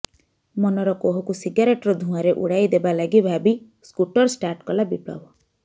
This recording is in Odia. ମନର କୋହକୁ ସିଗାରେଟର ଧୂଆଁରେ ଉଡ଼ାଇଦେବାଲାଗି ଭାବି ସ୍କୁଟର ଷ୍ଟାର୍ଟ କଲା ବିପ୍ଲବ